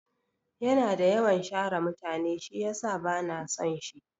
Yana da yawan share mutane shiyasa bana son shi.